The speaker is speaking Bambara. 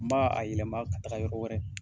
N m'a a yɛlɛma ka taga yɔrɔ wɛrɛ